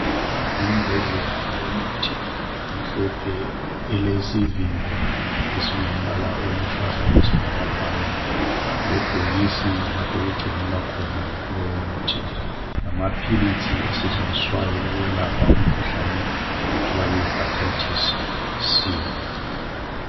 Imbodlela youmuthi emhlophe ilesivimbo esilombala oluhlaza okwesibhakabhaka lebhokisi lapho okungcinelwa khona lowo muthi lamapills asetshenziswayo ukuyelapha umkhuhlane okuthiwa yiHerbatatis C